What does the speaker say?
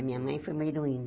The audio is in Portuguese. A minha mãe foi uma heroína.